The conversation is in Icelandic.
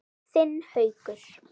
Þinn Haukur.